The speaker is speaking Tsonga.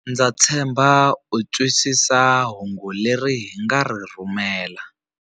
Ndza tshemba u twisisa hungu leri hi nga ri rhumela.